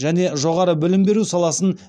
және жоғары білім беру саласын